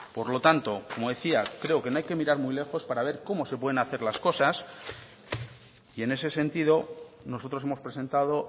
por lo tanto como decía creo que no hay que mirar muy lejos para ver cómo se pueden hacer las cosas y en ese sentido nosotros hemos presentado